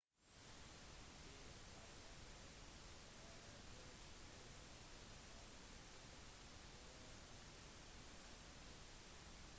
til syvende og sist er det lederen som har ansvaret for om laget vinner eller taper